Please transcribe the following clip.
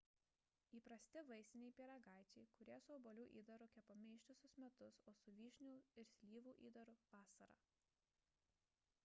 įprasti vaisiniai pyragaičiai kurie su obuolių įdaru kepami ištisus metus o su vyšnių ir slyvų įdaru – vasarą